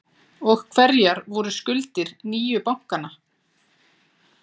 Og hverjar voru skuldir nýju bankanna?